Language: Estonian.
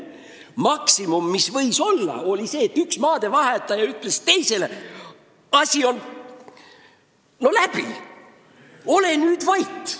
Maksimum sai olla see, et üks maadevahetaja ütles teisele: "Asi on läbi, ole nüüd vait!